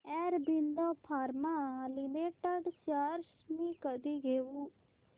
Aurobindo pharma limited shares मी कधी घेऊ